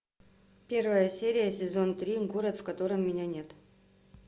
первая серия сезон три город в котором меня нет